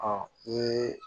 Ɔ i ye